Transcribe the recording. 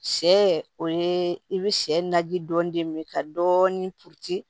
Sɛ o ye i bɛ sɛ naji dɔɔni ka dɔɔni